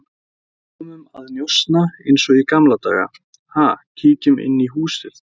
Komum að njósna eins og í gamla daga, ha, kíkjum inn í húsið